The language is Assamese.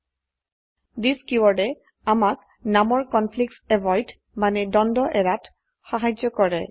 থিচ কীওয়াৰ্ডে আমাক নামৰ কনফ্লিক্টছ এভয়েড মানে দ্বন্দ্ব এড়াত সাহায্য কৰে